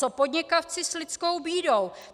Co podnikavci s lidskou bídou?